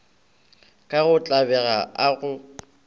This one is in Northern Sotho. ka go tlabega a go